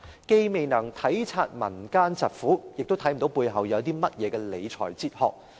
既未能體察民間疾苦，亦看不見背後有何理財哲學。